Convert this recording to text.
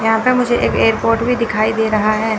यहां पे मुझे एक एयरपोर्ट भी दिखाई दे रहा है।